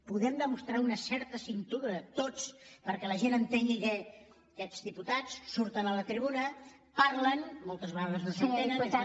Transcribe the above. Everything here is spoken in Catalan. podem demostrar una certa cintura tots perquè la gent entengui que aquests diputats surten a la tribuna parlen moltes vegades no s’entenen és natural